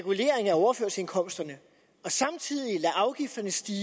overførselsindkomsterne og samtidig lader afgifterne stige